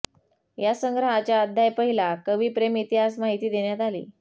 या संग्रहाच्या अध्याय पहिला कवी प्रेम इतिहास माहिती देण्यात आली